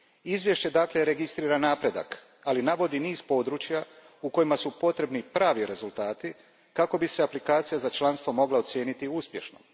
Izvješće, dakle, registrira napredak, ali navodi i niz područja u kojima su potrebni pravi rezultati kako bi se aplikacija za članstvo mogla ocijeniti uspješnom.